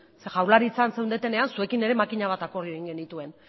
zeren jaurlaritzan zeundetenean zuekin makina bat akordio egin genituen